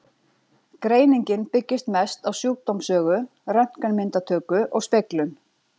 Greiningin byggist mest á sjúkdómssögu, röntgenmyndatöku og speglun.